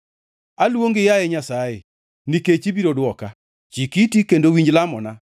Aluongi, yaye Nyasaye, nikech ibiro dwoka; chik iti kendo winj lamona.